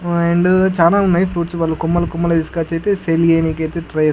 ఆహ్ అండ్ చాలా ఉన్నాయ్ ఫ్రూప్ట్స్ కొమ్మలు కొమ్మలు తీస్కొచైతే సేల్ చెయ్యనికైతే ట్రై --